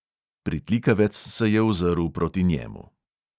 Pritlikavec se je ozrl proti njemu.